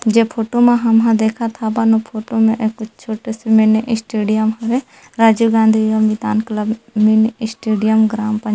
जे फोटो मा हम ह देखत ह बन फोटो में ऐ कुछ छोटे से मिनी स्टेडियम हरे Rajiv Gandhi club mini stadium ग्राम पंचालवर--